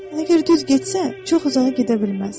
Əgər düz getsən, çox uzağa gedə bilməz.